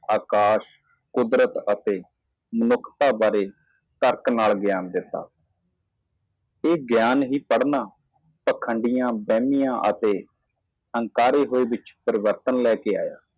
ਕੁਦਰਤ ਅਤੇ ਮਨੁੱਖਤਾ ਬਾਰੇ ਤਰਕ ਨਾਲ ਗਿਆਨ ਦਿੱਤਾ ਇਹ ਗਿਆਨ ਪੜ੍ਹ ਰਿਹਾ ਹੈ ਪਖੰਡੀ ਗੁੰਡੇ ਅਤੇ ਕਾਕੀ ਵਿੱਚ ਤਬਦੀਲੀ ਲਿਆਇਆ